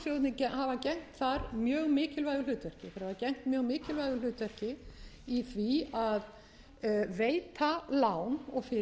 sparisjóðirnir hafa gegnt þar mjög mikilvægu hlutverki þeir hafa engu mjög mikilvægu hlutverki í því að veita lán og fyrirgreiðslu gegn veðum sem viðskiptabankarnir